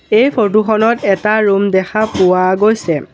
এই ফটোখনত এটা ৰুম দেখা পোৱা গৈছে।